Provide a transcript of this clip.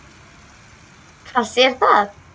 Fannst þér það?